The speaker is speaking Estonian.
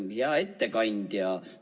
Hea ettekandja!